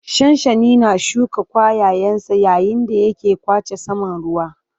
Shanshani na shuka ƙwayayensa yayin da yake ƙwace saman ruwa.